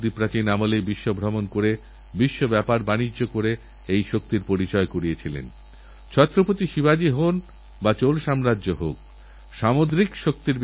গতবছরের মত এবছরেও কি আপনারা রাখীবন্ধন উপলক্ষে দেশের মাবোনেদের প্রধানমন্ত্রীসুরক্ষা বীমা যোজনা বা জীবনজ্যোতি বীমা যোজনা উপহার দিতে পারেন না ভাবুনবোনকে এমন কোন উপহার দিন যা তার জীবনকে সত্যি সত্যি সুরক্ষা দেবে